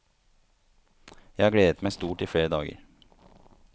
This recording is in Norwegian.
Jeg har gledet meg stort i flere dager.